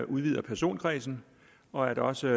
udvider personkredsen og at der også